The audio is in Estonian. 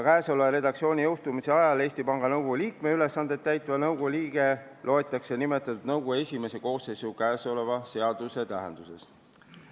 Käesoleva redaktsiooni jõustumise ajal Eesti Panga Nõukogu liikme ülesandeid täitev nõukogu liige loetakse nimetatuks nõukogu esimesse koosseisu käesoleva seaduse tähenduses.